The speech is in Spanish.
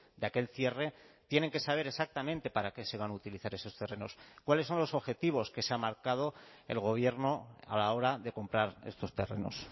de aquel cierre tienen que saber exactamente para qué se van a utilizar esos terrenos cuáles son los objetivos que se ha marcado el gobierno a la hora de comprar estos terrenos